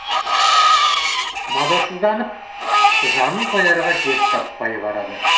мазасызданып жанын қоярға жер таппай барады